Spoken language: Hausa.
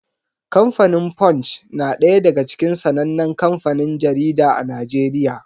Kamfanin Punch na ɗaya daga cikin sanannen kanfanin jarida a Najeriya.